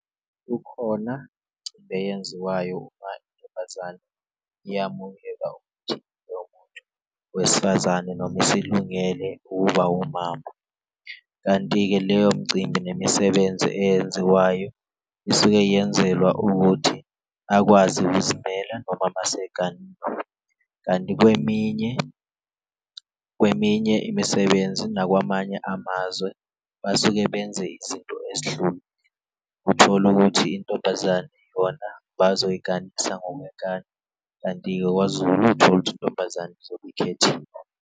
Ukhona eyenziwayo uma intombazana yamukwelwa ukuthi loyo muntu wesifazane noma isilungele ukuba umama, kanti-ke leyo mcimbi nemisebenzi eyenziwayo isuke yenzelwa ukuthi akwazi ukuzimela noma mas'eganile. Kanti kweminye kweminye imisebenzi nakwamanye amazwe basuke benze izinto ezihlukile, uthole ukuthi intombazane yona bazoyiganisa ngokwenkani, kanti kwaZulu uthole ukuthi intombazane izobe ikhethiwe.